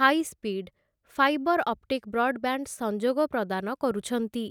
High speed fibre optic broadband ସଂଯୋଗ ପ୍ରଦାନ କରୁଛନ୍ତି ।